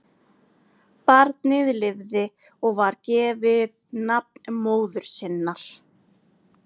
Barnið lifði og var gefið nafn móður sinnar.